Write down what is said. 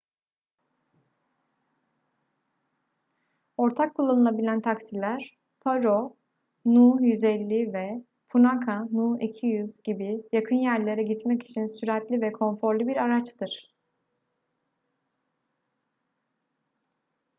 ortak kullanılabilen taksiler paro nu 150 ve punakha nu 200 gibi yakın yerlere gitmek için süratli ve konforlu bir araçtır